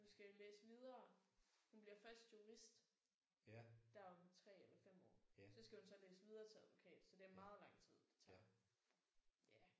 Hun skal jo læse videre. Hun bliver først jurist der om 3 eller 5 år. Så skal hun så læse videre til advokat så det er meget lang tid det tager ja